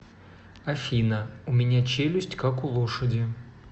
афина у меня челюсть как у лошади